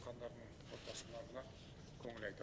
қаза тапқандардың отбасыларына көңіл айтамын